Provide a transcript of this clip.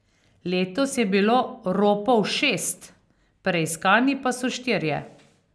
Letos je bilo ropov šest, preiskani pa so štirje.